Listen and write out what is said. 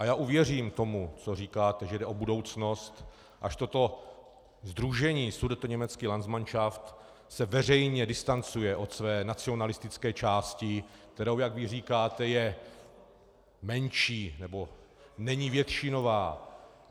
A já uvěřím tomu, co říkáte, že jde o budoucnost, až toto sdružení sudetoněmecký landsmanšaft se veřejně distancuje od své nacionalistické části, která, jak vy říkáte, je menší, nebo není většinová.